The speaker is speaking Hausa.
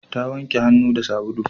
Ta wanke hannu da sabulu